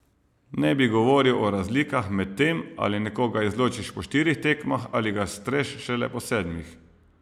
Ne bi govoril o razlikah med tem, ali nekoga izločiš po štirih tekmah ali ga streš šele po sedmih.